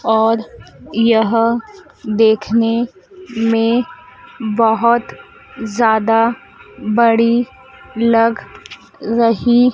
और यह देखने में बहोत ज्यादा बड़ी लग रही--